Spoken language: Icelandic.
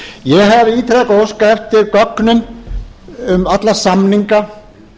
ég hef ítrekað óskað eftir gögnum um alla samninga